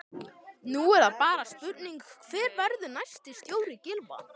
Nú er það bara spurning hver verður næsti stjóri Gylfa?